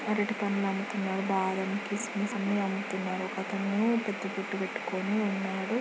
అరటి పండ్లు అమ్ముతున్నారు బాదం కిస్మిస్ అన్ని అమ్ముతున్నారు ఒకతను పెద్ద బొట్టు పెట్టుకొని ఉన్నాడు.